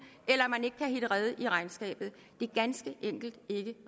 eller hvor man ikke kan hitte rede i regnskabet det er ganske enkelt ikke